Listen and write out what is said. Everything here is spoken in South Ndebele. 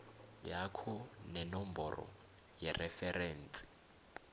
yakho nenomboro yereferensi